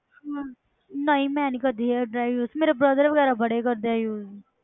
ਹਮ ਨਹੀਂ ਮੈਂ ਨੀ ਕਰਦੀ hair dryer use ਮੇਰੇ brother ਵਗ਼ੈਰਾ ਬੜੇ ਕਰਦੇ ਆ use